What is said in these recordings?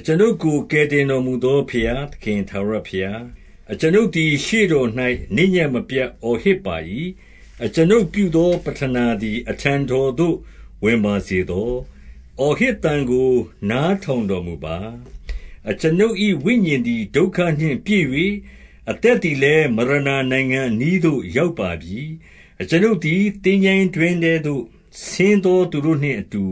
အကျွန်ုပ်ကို ကယ်တင်တော်မူသော ဘုရား သခင် ထာဝရဘုရား၊ အကျွန်ုပ်သည် ရှေ့တော်၌ နေ့ညဉ့် မပြတ် အော်ဟစ်ပါ၏။ အကျွန်ုပ်ပြုသောပဌနာသည် အထံတော်သို့ ဝင်ပါစေသော။ အော်ဟစ်သံကို နားထောင်တော်မူပါ။ အကျွန်ုပ်၏ ဝိညာဉ်သည် ဒုက္ခနှင့်ပြည့်၍၊ အသက်သည်လည်း မရဏနိုင်ငံအနီးသို့ ရောက်ပါပြီ။ အကျွန်ုပ်သည် သင်္ချိုင်းတွင်းထဲသို့ ဆင်းသော သူတို့နှင့်အတူ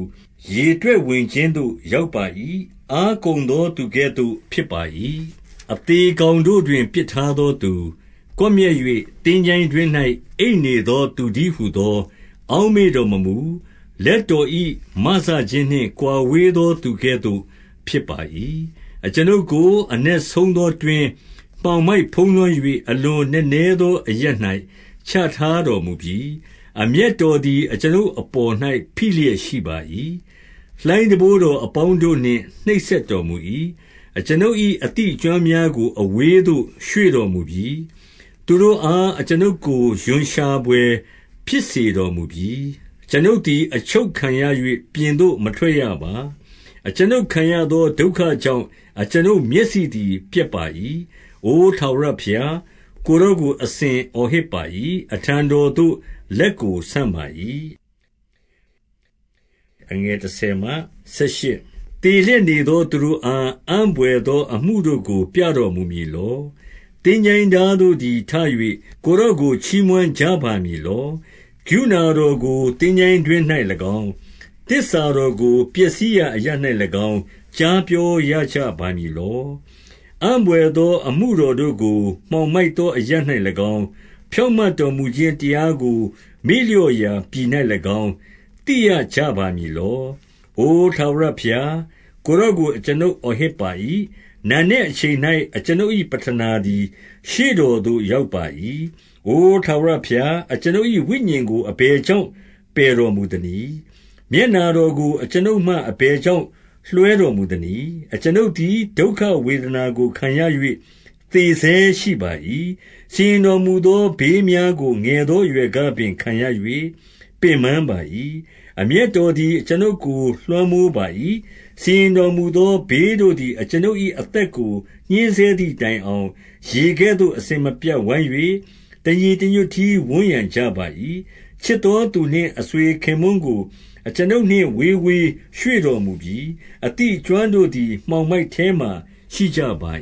ရေတွက်ဝင်ခြင်းသို့ ရောက်ပါ၏။ အား ကုန်သော သူကဲ့သို့ ဖြစ်ပါ၏။ အသေကောင်တို့တွင် ပစ်ထားသောသူ၊ ကွပ် မျက်၍ သင်္ချိုင်းတွင်း၌ အိပ်နေသောသူတည်းဟူသော အောက်မေ့တော်မမူ၊ လက်တော်၏ မစခြင်းနှင့်ကွာဝေး သော သူကဲ့သို့ ဖြစ်ပါ၏။ အကျွန်ုပ်ကို အနက်ဆုံးသောတွင်း၊ မှောင်မိုက် ဖုံးလွှမ်း၍ အလွန်နက်နဲသော အရပ်၌ ချထားတော်မူပြီ။ အမျက်တော်သည် အကျွန်ုပ်အပေါ်၌ ဖိလျက် ရှိပါ၏။ လှိုင်းတံပိုးတော်အပေါင်းတို့နှင့် နှိပ်စက်တော် မူ၏။ အကျွန်ုပ်၏ အသိအကျွမ်းများကို အဝေးသို့ ရွေ့တော်မူပြီ။ သူတို့အား အကျွန်ုပ်ကို ရွံ့ရှာဖွယ် ဖြစ်စေတော်မူပြီ။ အကျွန်ုပ်သည် အချုပ်ခံရ၍၊ ပြင်သို့ မထွက်ရပါ။ အကျွန်ုပ်ခံရေသော ဒုက္ခကြောင့် အကျွန်ုပ် မျက်စိသည် ပျက်ပါ၏။ အို ထာဝရဘုရား၊ ကိုယ်တော်ကို အစဉ်အော်ဟစ်ပါ၏။ အထံတော်သို့ လက်ကိုဆန့်ပါ၏။ သေလျက်နေသောသူတို့အား အံ့ဘွယ်သော အမှုတို့ကို ပြတော်မူမည်လော။ သင်္ချိုင်းသားတို့သည်ထ၍ ကိုယ်တော်ကို ချီးမွမ်းကြပါမည်လော။ ကရုဏာတော်ကို သင်္ချိုင်းတွင်း၌၎င်း၊ သစ္စာ တော်ကို ပျက်စီးရာအရပ်၌၎င်း ကြားပြောရကြပါ မည်လော။ အံ့ဘွယ်သော အမှုတော်တို့ကို မှောင်မိုက်သော အရပ်၌၎င်း၊ ဖြောင့်မတ်တော်မူခြင်းတရားကို မေ့လျော့ ရာပြည်၌၎င်း သိရကြပါမည်လော။ အိုထာဝရဘုရား၊ ကိုယ်တော်ကို အကျွန်ုပ် အော်ဟစ်ပါ၏။ နံနက်အချိန်၌ အကျွန်ုပ်၏ ပဌနာသည် ရှေ့တော်သို့ရောက်ပါ၏။ အိုထာဝရဘုရား၊ အကျွန်ုပ်၏ ဝိညာဉ်ကို အဘယ်ကြောင့် ပယ်တော်မူသနည်း။ မျက်နှာတော်ကို အကျွန်ုပ်မှ အဘယ်ကြောင့်လွှဲတော်မူသနည်း။ အကျွန်ုပ်သည် ဒုက္ခဝေဒနာကိုခံရ၍ သေဆဲ ရှိပါ၏။ စီရင်တော်မူသောဘေးများကို ငယ်သောအရွယ် ကပင် ခံရ၍ ပင်ပန်းပါ၏။ အမျက်တော်သည် အကျွန်ုပ်ကို လွှမ်းမိုးပါ၏။ စီရင်တော်မူသော ဘေးတို့သည် အကျွန်ုပ်၏ အသက်ကို ညှဉ်းဆဲသည်တိုင်အောင်၊ ရေကဲ့သို့ အစဉ်မပြတ်ဝိုင်း၍ တညီတညွတ် တည်း ဝန်းရံကြပါ၏။ ချစ်သောသူနှင့်အဆွေခင်ပွန်းကို အကျွန်ုပ်နှင့် ဝေးဝေးရွှေ့တော်မူပြီ။ အသိအကျွမ်းတို့သည် မှောင်မိုက် ထဲမှာရှိကြပါ